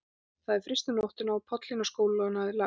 Það hafði fryst um nóttina og pollinn á skólalóðinni hafði lagt.